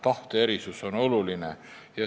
Tahte erisus on ju oluline.